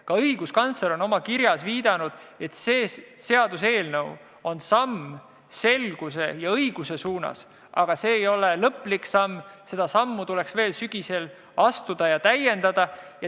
Ka õiguskantsler on oma kirjas viidanud, et see seaduseelnõu on samm selguse ja õiguse suunas, aga see ei ole viimane samm, vaid sügisel tuleb edasi minna ja seni tehtut täiendada.